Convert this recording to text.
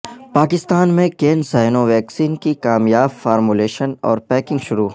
پاکستان میں CanSino vaccine کی کامیاب فارمولیشن اور پیکنگ شروع